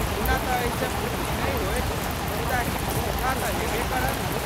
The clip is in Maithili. ओना तँ एहिसँ पूर्ति नहि होयत, मुदा किछु सुविधा तँ हेबे करत।